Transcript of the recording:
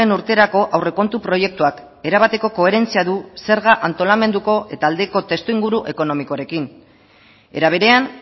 urterako aurrekontu proiektuak erabateko koherentzia du zerga antolamenduko eta aldeko testuinguru ekonomikoarekin era berean